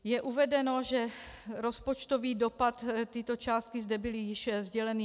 Je uvedeno, že rozpočtový dopad - tyto částky zde byly již sděleny.